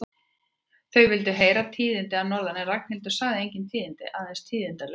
Þau vildu heyra tíðindi að norðan en Ragnhildur sagði engin tíðindi, aðeins tíðindaleysi.